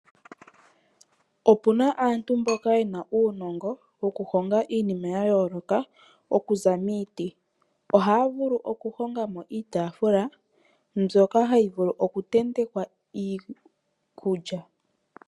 Opuna aantu mboka yena uunongo wokuhonga iinima yayooloka okuza miiti, ohaya vulu okuhongamo iitaafula mbyoka hayi vulu oku tentekwa iikulya.